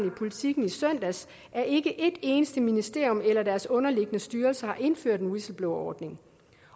i politiken i søndags at ikke et eneste ministerium eller deres underliggende styrelser har indført en whistleblowerordning